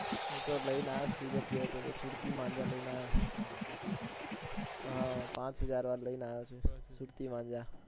હું તો લઈને આવ્યો સુરત ગયો હતો તો સુરતી માનજો લઈને આવ્યો પાંચ હજાર વાળો લઈને આવ્યો છુ સુરતી માનજો